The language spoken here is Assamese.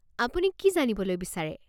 আপুনি কি জানিবলৈ বিচাৰে?